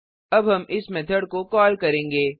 अब हम इस मेथड को कॉल करेंगे